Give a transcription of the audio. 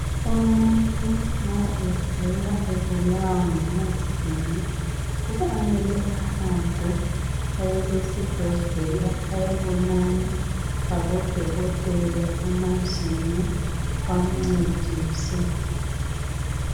Umuntu ma egula ebulawa ngamazinyo kufanele ahambe aye esibhedlela ayebonana labodokotela bamazinyo ukuze bamncedise